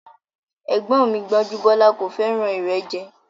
Ẹ̀gbọ́n mi Gbọ́njúbọ́lá kò fẹ́ràn ìrẹ́jẹ